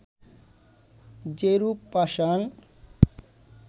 যেরূপ পাষাণ